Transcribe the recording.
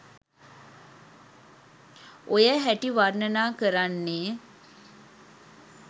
ඔය හැටි වර්ණනා කරන්නේ.